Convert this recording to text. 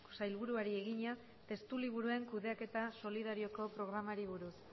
sailburuari egina testuliburuen kudeaketa solidarioko programari buruz